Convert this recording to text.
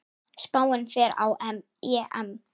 Spánn fer á EM.